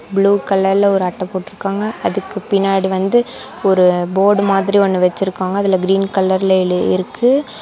Blue கலர்ல ஒரு அட்ட போட்ருக்காங்க அதுக்கு பின்னாடி வந்து ஒரு போர்டு மாதிரி ஒன்னு வெச்சிருக்காங்க அதுல கிரீன் கலர்ல எழுதியிருக்கு.